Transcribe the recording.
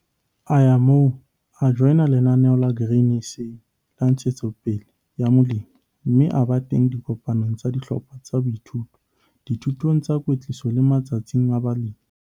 A ya moo, a joina Lenaneo la Grain SA la Ntshetsopele ya Molemi, mme a ba teng dikopanong tsa dihlopha tsa boithuto, dithutong tsa kwetliso le matsatsing a balemi.